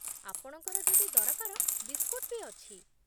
ଆପଣଙ୍କର ଯଦି ଦରକାର, ବିସ୍କୁଟ୍ ବି ଅଛି ।